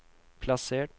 plassert